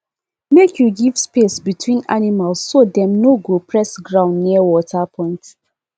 make you give space between animals so dem no go press ground near water point